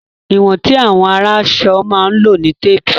Ìwọ̀n tí àwọn aránṣọ máa ń lò ní Téépù